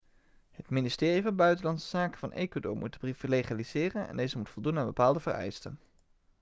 het ministerie van buitenlandse zaken van ecuador moet de brief legaliseren en deze moet voldoen aan bepaalde vereisten